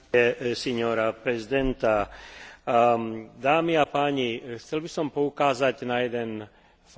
Chcel by som poukázať na jeden fakt, ktorý spája veterinárnu medicínu a humánnu medicínu.